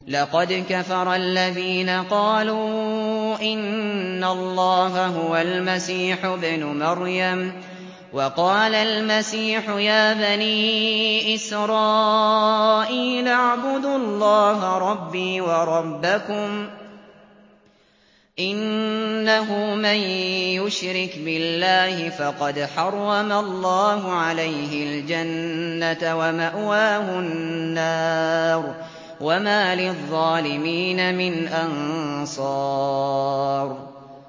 لَقَدْ كَفَرَ الَّذِينَ قَالُوا إِنَّ اللَّهَ هُوَ الْمَسِيحُ ابْنُ مَرْيَمَ ۖ وَقَالَ الْمَسِيحُ يَا بَنِي إِسْرَائِيلَ اعْبُدُوا اللَّهَ رَبِّي وَرَبَّكُمْ ۖ إِنَّهُ مَن يُشْرِكْ بِاللَّهِ فَقَدْ حَرَّمَ اللَّهُ عَلَيْهِ الْجَنَّةَ وَمَأْوَاهُ النَّارُ ۖ وَمَا لِلظَّالِمِينَ مِنْ أَنصَارٍ